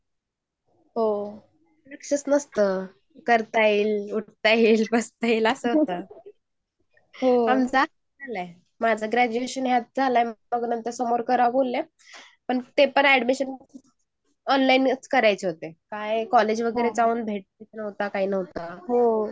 हो लक्षच नसतं. करता येईल बसता येईल असं असतं हो लक्षच नसत करता येईल बसता येईल ING पण ते पण ऍडमिशन ऑनलाइनच करायचे होते. कॉलेज मध्ये पण